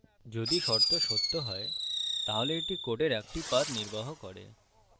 যদি শর্ত সত্য হয় তাহলে এটি code একটি path নির্বাহ করে